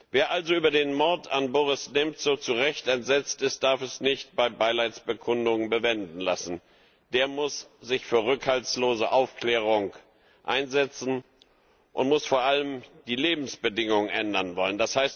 Wer also über den Mord an Boris Nemzow zu Recht entsetzt ist, darf es nicht bei Beileidsbekundungen bewenden lassen, sondern muss sich für rückhaltlose Aufklärung einsetzen und muss vor allem die Lebensbedingungen ändern wollen.